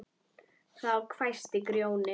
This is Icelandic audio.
Þá hvæsti Grjóni